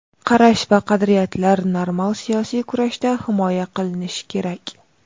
Qarash va qadriyatlar normal siyosiy kurashda himoya qilinishi kerak.